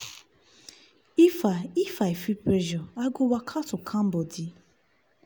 if i if i feel pressure i go waka to calm body.